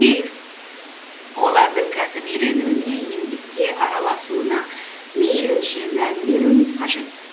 олардың кәсіп үйренуіне еңбекке араласуына мейлінше мән беруіміз қажет